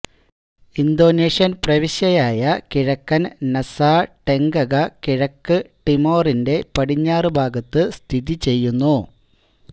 Indonesian പ്രവിശ്യയായ കിഴക്കൻ നസാ ടെങ്കഗ കിഴക്ക് ടിമോറിന്റെ പടിഞ്ഞാറ് ഭാഗത്ത് സ്ഥിതി ചെയ്യുന്നു